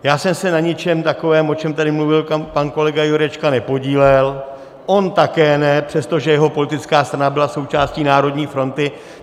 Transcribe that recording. Já jsem se na ničem takovém, o čem tady mluvil pan kolega Jurečka, nepodílel, on také ne, přestože jeho politická strana byla součástí Národní fronty.